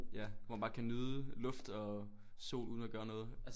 Ja hvor man bare kan nyde luft og sol uden at gøre noget